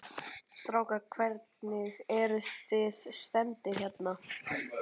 Strákar, hvernig, eruð þið stemmdir hérna?